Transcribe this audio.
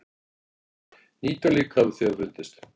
Nítján lík hafa þegar fundist.